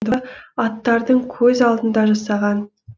аттардың көз алдында жасаған